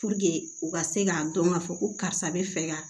u ka se k'a dɔn ka fɔ ko karisa bɛ fɛ ka